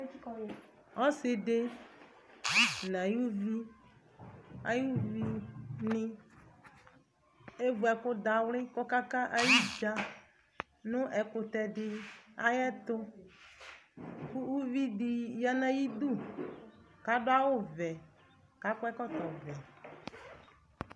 Ɔsɩdɩ n'ay'uvi ay'uvinɩ: evu ɛkʋdawlɩ kɔka ka ayidzǝ nʋ ɛkʋtɛdɩ ayɛtʋ Uvidi ya n'ayidu kadʋ awʋvɛ k'akɔ ɛkɔtɔvɛ